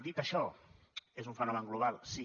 dit això és un fenomen global sí